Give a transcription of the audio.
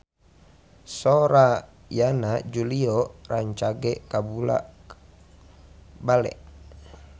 Sora Yana Julio rancage kabula-bale